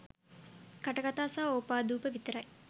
කටකතා සහ ඕපාදුප විතරයි.